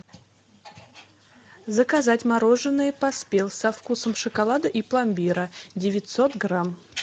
заказать мороженое поспел со вкусом шоколада и пломбира девятьсот грамм